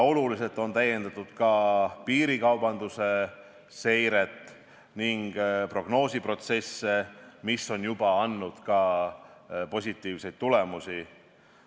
Oluliselt on täiendatud ka piirikaubanduse seiret ja prognoosiprotsesse ning see on juba andnud ka positiivseid tulemusi.